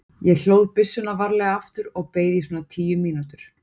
Ég hlóð byssuna varlega aftur og beið í svona tíu mínútur.